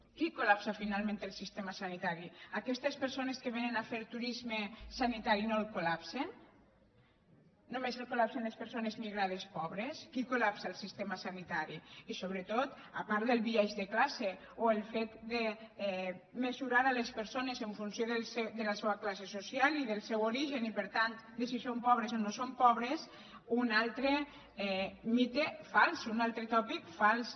qui colel sistema sanitari aquestes persones que vénen a fer turisme sanitari no el col·més el col·lapsen les persones migrades pobres qui col·lapsa el sistema sanitari i sobretot a part del biaix de classe o el fet de mesurar les persones en funció de la seua classe social i del seu origen i per tant de si són pobres o no són pobres un altre mite fals un altre tòpic fals